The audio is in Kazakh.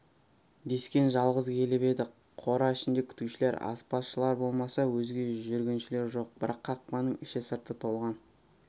дескен жалғыз келіп еді қора ішінде күтушілер аспазшылар болмаса өзге жүргіншілер жоқ бірақ қақпаның іші-сырты толған